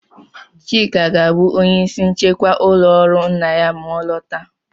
Chika ga-abụ onye ìsì nchịkwa ụlọ ọrụ nna ya ma ọ lọta.